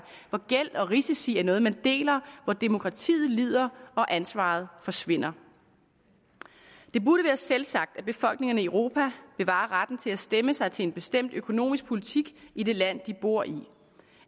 hvor gæld og risici er noget man deler og hvor demokratiet lider og ansvaret forsvinder det burde være selvsagt at befolkningerne i europa bevarer retten til at stemme sig til en bestemt økonomisk politik i det land de bor i